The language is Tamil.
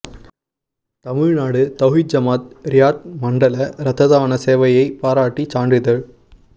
தமிழ்நாடு தவ்ஹீத் ஜமாஅத் ரியாத் மண்டல இரத்ததான சேவையைப் பாராட்டி சான்றிதழ்